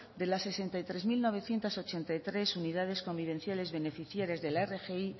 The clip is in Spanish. de las sesenta y tres mil novecientos ochenta y tres unidades convivenciales beneficiarias de la rgi